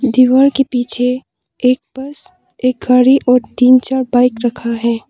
दीवार के पीछे एक बस एक गाड़ी और तीन चार बाइक रखा है।